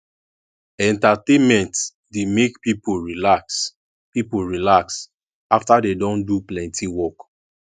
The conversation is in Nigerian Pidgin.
entertainment dey make pipo relax pipo relax afta dem don do plenty work